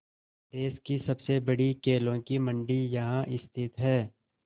देश की सबसे बड़ी केलों की मंडी यहाँ स्थित है